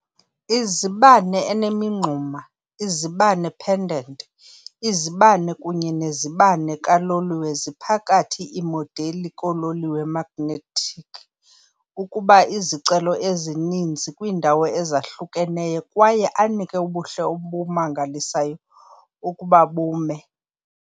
Izibane enemingxuma, izibane pendant, izibane kunye nezibane kaloliwe ziphakathi iimodeli koololiwe magnetic ukuba izicelo ezininzi kwiindawo ezahlukeneyo kwaye anike ubuhle omangalisayo ukuba bume.